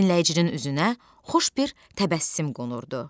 Dinləyicinin üzünə xoş bir təbəssüm qonurdu.